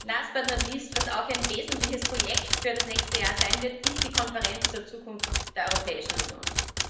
Last, but not least Was auch ein wesentliches Projekt für das nächste Jahr sein wird, ist die Konferenz zur Zukunft der Europäischen Union.